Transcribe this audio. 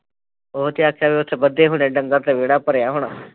ਉਹ ਚਾਚਾ ਵੀ ਉੱਥੇ ਬੱਧੇ ਹੋਣੇ ਡੰਗਰ ਤੇ ਵਿਹੜਾ ਭਰਿਆ ਹੋਣਾ